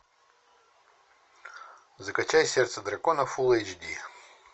закачай сердце дракона фул эйч ди